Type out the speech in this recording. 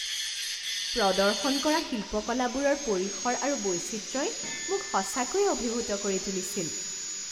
প্ৰদৰ্শন কৰা শিল্পকলাবোৰৰ পৰিসৰ আৰু বৈচিত্ৰ্যই মোক সঁচাকৈয়ে অভিভূত কৰি তুলিছিল।